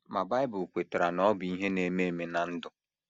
Ma Bible kwetara na ọ bụ ihe na - eme eme ná ndụ.